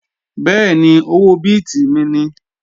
Bẹ́ẹ̀ni, owó bíìtì mi ni